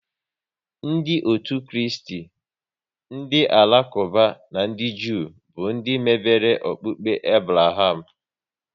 Ndị otu Kristi, ndị Alakuba na ndị Jew bụ ndị mebere okpukpe Abraham